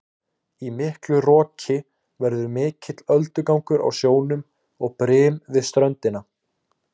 Í miklu roki verður mikill öldugangur á sjónum og brim við ströndina.